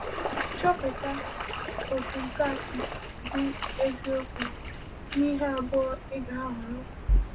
Chọpụta otú nke a siri dị eziokwu n’ihe abụọ ị ga-ahọrọ.